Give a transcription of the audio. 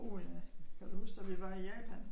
Uh ja. Kan du huske da vi var i Japan?